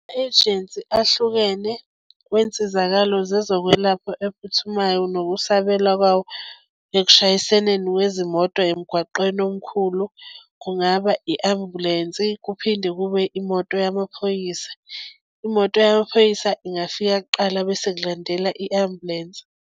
Ejensi ahlukene kwensizakalo zezokwelapha ephuthumayo nokusabela kwawo ekushayiseneni kwezimoto emgwaqeni omkhulu, kungaba i-ambulensi kuphinde kube imoto yamaphoyisa. Imoto yamaphoyisa ingafika kuqala bese sekulandela i-ambulensi.